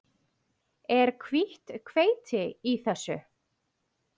Er hvítt hveiti í þessu?